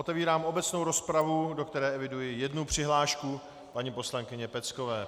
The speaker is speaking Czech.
Otevírám obecnou rozpravu, do které eviduji jednu přihlášku - paní poslankyně Peckové.